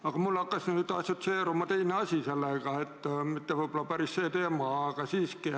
Aga mul hakkas nüüd teine asi assotsieeruma mitte võib-olla päris selle teemaga, aga siiski.